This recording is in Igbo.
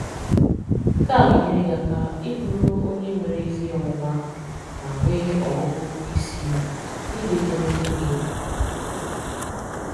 Nke a ga-enyere gị aka ị bụrụ onye nwere ezi ọmụma ma nwee ọgụgụ isi n’ide edemede gị.